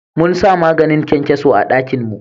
Mun sa maganin kyankyaso a dakin mu